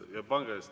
Jah, palun!